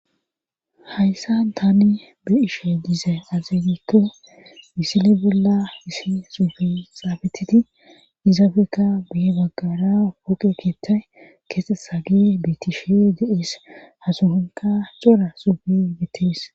ayssan tani be'ishe diize azegikke misile bolla hisi suufi xaabetiti izafekka biye baggara woqe keettay kese sagi bitishe deies hasuhanka cora suufi gittis.